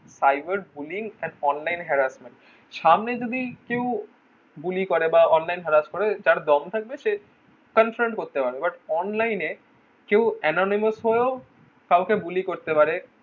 cyberbullying and online harassment সামনে যদি কেউ bully করে বা online harass করে যার দম থাকবে সে confront করতে পারবে but online এ কেউ anonymous হয়ে ও কাউকে bully করতে পারে